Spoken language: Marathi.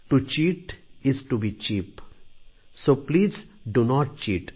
to cheat is cheap so please do not cheat